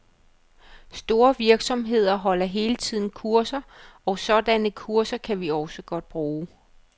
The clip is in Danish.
Store virksomheder holder hele tiden kurser, og sådanne kurser kan vi også godt bruge.